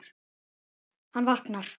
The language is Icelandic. Hann vaknar.